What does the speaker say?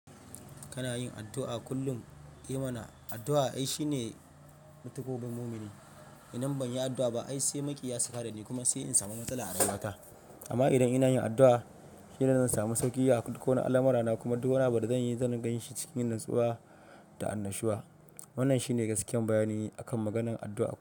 Kana yin addu'a kullum? I mana, addu'a ai shi ne ma takobin mumini. Idan ban yi addu'a ba ai sai maƙiya su kadani kuma sai in samu matsala a rayuwata. Amma idan ina yin addu'a, hira zan samu sauƙi a ko wane alamarana kuma duk wani abu da zan yi zan gan shi cikin natsuwa da annashuwa. Wannan shi ne gaskiyan bayani akan maganar addu'a.